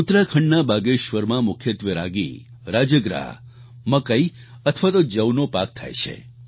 ઉત્તરાખંડના બાગેશ્વરમાં મુખ્યત્વે રાગી રાજગરા મકાઈ અથવા જવનો પાક થાય છે